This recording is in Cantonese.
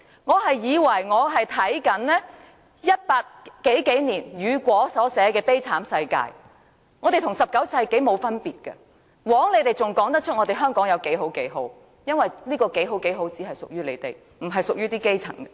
我以為我是在看1800年代雨果所寫的悲慘世界，我們現在與19世紀沒有分別，枉建制派議員還敢說香港有多好多好，這些好事只屬於他們，不屬於基層。